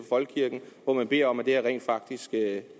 folkekirken hvor man beder om at det her rent faktisk